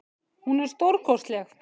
Hún er stórkostleg.